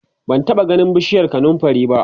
ban taɓa ganin bishiyar kanumfari ba